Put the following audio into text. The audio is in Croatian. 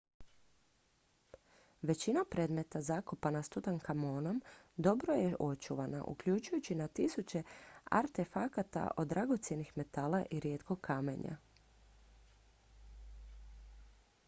većina predmeta zakopana s tutankamonom dobro je očuvana uključujući na tisuće artefakata od dragocjenih metala i rijetkog kamenja